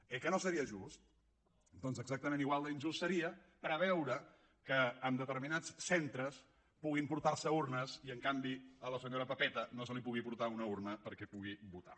oi que no seria just doncs exactament igual d’injust seria preveure que a determinats centres puguin portar s’hi urnes i en canvi a la senyora pepeta no se li pugui portar una urna perquè pugui votar